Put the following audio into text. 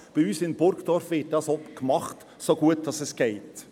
Bei uns in Burgdorf wird dies auch gemacht, so gut es geht.